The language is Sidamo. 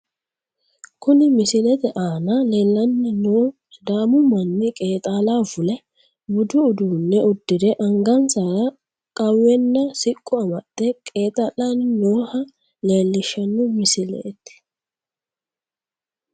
Kuni misilete aana leellanni noohu sidaamu manni qeexaalaho fule ,budu uduunne uddire angansara qawwenana siqqo amaxxe qeexaallanni nooha leellishshanno misileeti.